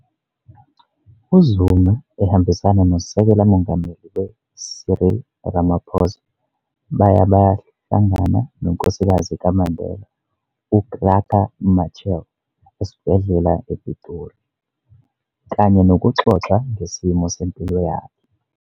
u-UZuma ehambisana noSekela Mongameli we-Cyril Ramaphosa, baya bayohlangana nonkosikazi kaMandela u-Graça Machel esibhedlela ePitori, kanye nokuxoxa ngesimo sempilo yakhe.